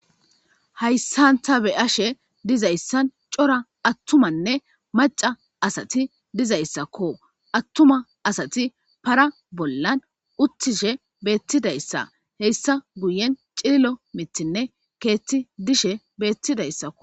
Haaysan ta Bea'she de'zayssa atuma nne macca cassation dizaysakko, atuma assati para bollards uttishe betishe hessa guyen cililo miththi nne keththi dishshe betidaysakko